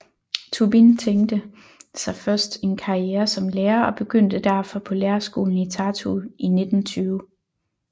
Tubin tænkte sig først en karriere som lærer og begyndte derfor på lærerskolen i Tartu i 1920